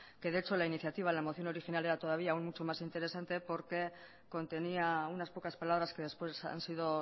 que de hecho la iniciativa la moción original era todavía mucho más interesante porque contenía unas pocas palabras que después han sido